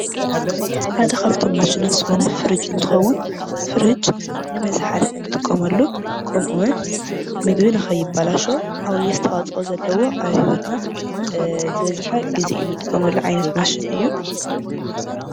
ሓደ ካብቶም ማሽናት ዝኮነ ፍርጅ እንትኮን ፍርጅ ንመዝሓሊ እንጥቀመሉ ከምእውን ምግቢ ንከይበላሸው ዓብዪ ኣስተዋፅኦ ዘለዎ ኣብ ሂወትና ዝበዝሐ ግዜ እንጥቀመሉ ዓይነት ማሽን እዩ።